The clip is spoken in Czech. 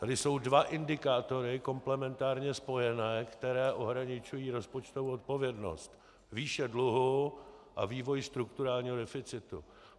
Tady jsou dva indikátory komplementárně spojené, které ohraničují rozpočtovou odpovědnost: výše dluhu a vývoj strukturálního deficitu.